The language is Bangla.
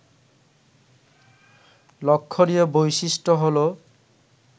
লক্ষণীয় বৈশিষ্ট্য হলো